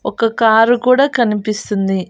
ఒక్క కారు కూడా కనిపిస్తుంది.